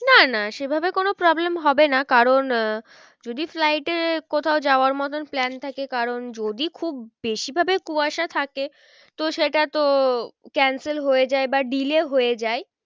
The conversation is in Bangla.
না না সে ভাবে কোনো problem হবে না কারণ আহ যদি flight এ কোথাও যাওয়ার মতন plan থাকে কারণ যদি খুব বেশি ভাবে কুয়াশা থাকে তো সেটা তো cancel হয়ে যায় বা delay হয়ে যায়।